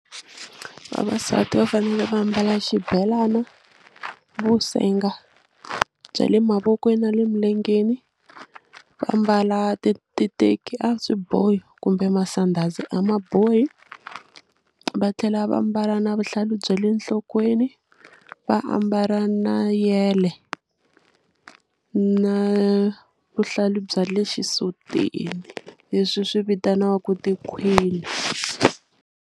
Vavasati va fanele va mbala xibelana vusenga bya le mavokweni na le milengeni va mbala titeki a swi bohi kumbe masandhazi a ma bohi va tlhela va mbala na vuhlalu bya le nhlokweni va ambala na yele na vuhlalu bya le xisutini leswi swi vitaniwaku tikhwini.